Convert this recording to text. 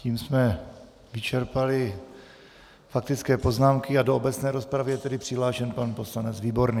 Tím jsme vyčerpali faktické poznámky a do obecné rozpravy je tedy přihlášen pan poslanec výborný.